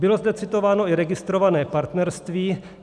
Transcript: Bylo zde citováno i registrované partnerství.